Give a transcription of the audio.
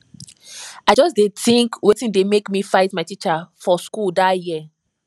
i just dey tink wetin make me fight my teacher for school dat year